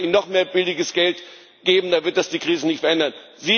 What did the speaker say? Wenn wir ihnen noch mehr billiges Geld geben, dann wird das die Krise nicht verändern.